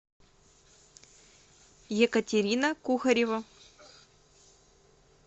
екатерина кухарева